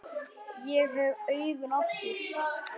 Ég hef augun aftur.